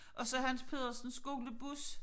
Og så Hans Pedersens skolebus